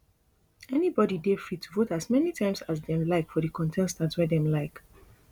anybody dey free to vote as many time as dem like for di contestant wey dem like